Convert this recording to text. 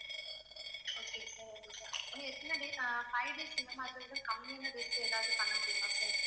okay sir இன்னும் எத்தனை date uh five days இந்த மாசத்துக்கு கம்மியான dates எதாவது பண்ண முடியுமா sir